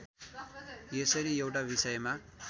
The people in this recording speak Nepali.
यसरी एउटा विषयमा